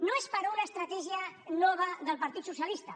no és per una estratègia nova del partit socialista